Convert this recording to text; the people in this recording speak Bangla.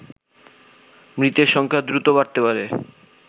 মৃতের সংখ্যা দ্রুত বাড়তে পারে